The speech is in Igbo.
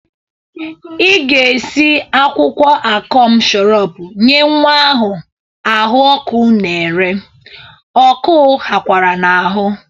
Ị ga-esi akwụkwọ akọm shọrọp nye nwa a ahụ ọkụ n'ere, ọkụụ ghakwara n'ahụ!